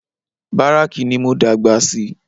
Báràkì ní mo dàgbà sí